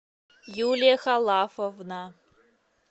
юлия халафовна